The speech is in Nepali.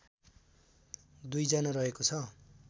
२ जना रहेको छ